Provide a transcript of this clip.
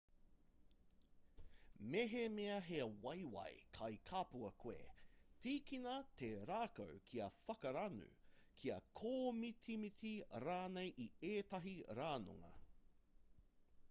mehemea he waewae kai kapua koe tīkina te rākau kia whakaranu kia kōmitimiti rānei i ētahi ranunga